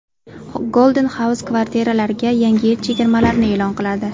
Golden House kvartiralarga Yangi yil chegirmalarini e’lon qiladi!